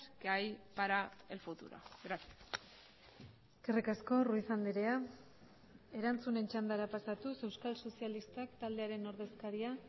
que hay para el futuro gracias eskerrik asko ruiz andrea erantzunen txandara pasatuz euskal sozialistak taldearen ordezkaria